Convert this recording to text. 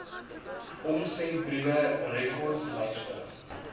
omsendbriewe rekords lyste